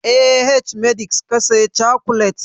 A h-medix ka saya cokolet?